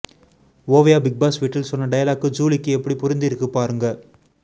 Oviya Bigg Boss வீட்டில் சொன்ன dialogue ஜூலிக்கு எப்படி பொருந்தியிருக்கு பாருங்க